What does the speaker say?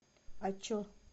а че